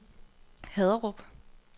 Haderup